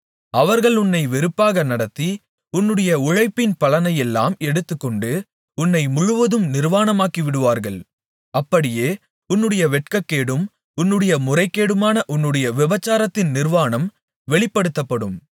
அவர்கள் உன்னை வெறுப்பாக நடத்தி உன்னுடைய உழைப்பின் பலனையெல்லாம் எடுத்துக்கொண்டு உன்னை முழுவதும் நிர்வாணமாக்கிவிடுவார்கள் அப்படியே உன்னுடைய வெட்கக்கேடும் உன்னுடைய முறைகேடுமான உன்னுடைய விபசாரத்தின் நிர்வாணம் வெளிப்படுத்தப்படும்